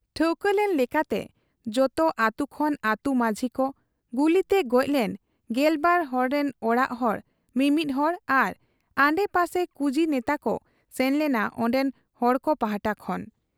ᱴᱷᱟᱹᱣᱠᱟᱹ ᱞᱮᱱ ᱞᱮᱠᱟᱛᱮ ᱡᱚᱛᱚ ᱟᱹᱛᱩ ᱠᱷᱚᱱ ᱟᱹᱛᱩ ᱢᱟᱹᱡᱷᱤᱠᱚ, ᱜᱩᱞᱤᱛᱮ ᱜᱚᱡᱞᱮᱱ ᱜᱮᱞᱵᱟᱨ ᱦᱚᱲᱨᱤᱱ ᱚᱲᱟᱜ ᱦᱚᱲ ᱢᱤᱢᱤᱫ ᱦᱚᱲ ᱟᱨ ᱟᱰᱮᱯᱟᱥᱮ ᱠᱩᱡᱤ ᱱᱮᱛᱟᱠᱚ ᱥᱮᱱ ᱞᱮᱱᱟ ᱚᱱᱰᱮᱱ ᱦᱚᱲᱠᱚ ᱯᱟᱦᱴᱟ ᱠᱷᱚᱱ ᱾